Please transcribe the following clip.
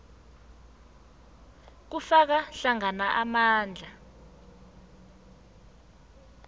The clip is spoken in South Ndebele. kufaka hlangana amandla